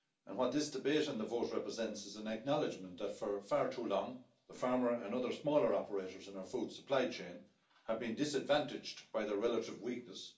What this debate and the vote represent is an acknowledgment that, for far too long, the farmer and other smaller operators in our food supply chain have been disadvantaged by their relative weakness